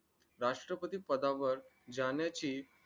राष्ट्रपती पदावर जाण्याची